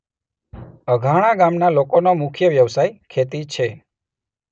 અધાણા ગામના લોકોનો મુખ્ય વ્યવસાય ખેતી છે.